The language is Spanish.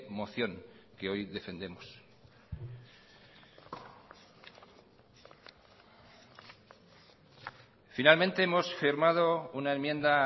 moción que hoy defendemos finalmente hemos firmado una enmienda